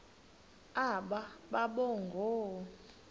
aba boba ngoo